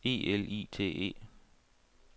E L I T E